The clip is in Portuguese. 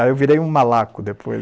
Aí eu virei um malaco depois.